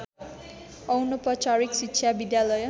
अनौपचारिक शिक्षा विद्यालय